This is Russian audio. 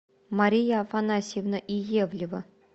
мария афанасьевна иевлева